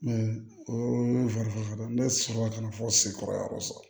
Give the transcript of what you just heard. o ye ne sɔrɔla ka na fɔ sekɔrɔ yɔrɔ sɔrɔ